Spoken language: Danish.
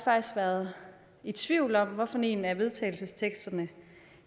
været i tvivl om hvad for en af vedtagelsesteksterne